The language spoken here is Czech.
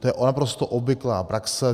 To je naprosto obvyklá praxe.